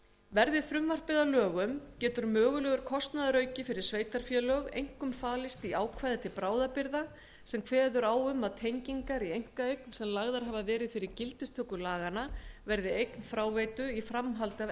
verði frumvarpið að lögum getur mögulegur kostnaðarauki fyrir sveitarfélög einkum falist í ákvæði til bráðabirgða sem kveður á um að tengingar í einkaeign sem lagðar hafa verið fyrir gildistöku laganna verði eign fráveitu í framhaldi af